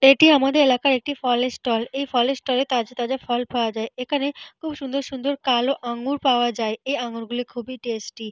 এটি আমাদের এলাকার একটি ফলের ষ্টল । এই ফলের ষ্টল -এ তাজা তাজা ফল পাওয়া যায়। এখানে খুব সুন্দর সুন্দর কালো আঙ্গুর পাওয়া যায়। এই আঙুর গুলি খুবই টেস্টি ।